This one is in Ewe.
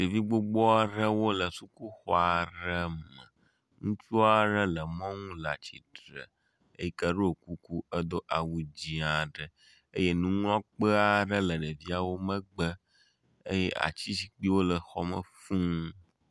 Ɖevi gbogbo aɖewo le sukuxɔ aɖe me. Ŋutsu aɖe le mɔnu le atsitre eyike ɖo kuku edo awu dzi aɖe eye nuŋlɔkpe aɖe le ɖeviawo megbe eye ati zikpuiwo le xɔme fuu.